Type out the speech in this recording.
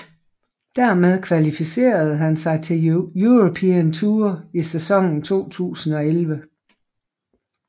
Dermed kvalificerede han sig til European Tour i sæsonen 2011